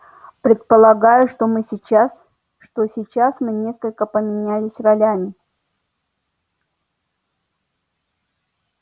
предполагаю что мы сейчас что сейчас мы несколько поменялись ролями